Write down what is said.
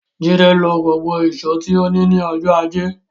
Jídé lo gbogbo ìṣó tí ó ní ní ọjọ́ ajé.